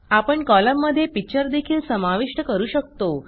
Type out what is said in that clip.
आपण कॉलममध्ये पिक्चर देखील समाविष्ट करू शकतो